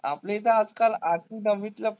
आपल्या इथं आजकाल आठवी दहावीतल्या